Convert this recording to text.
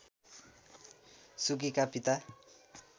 सुकीका पिता